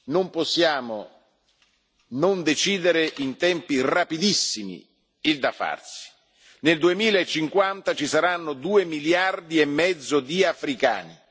anni, non possiamo non decidere in tempi rapidissimi il da farsi. Nel 2050 ci saranno due miliardi e mezzo di africani.